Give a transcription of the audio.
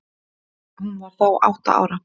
Hún var þá átta ára.